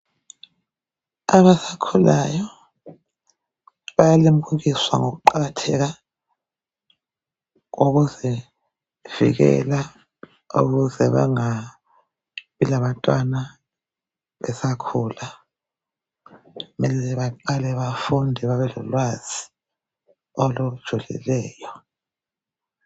Abasakhulayo bayalimukiswa ngokuqakatheka kokuzivikela emkhuhlaneni ukuze bangabi labantwana besakhula benze baqale bafunde babelolwazi olujulileyo